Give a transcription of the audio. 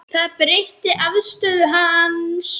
Það breytti afstöðu hans.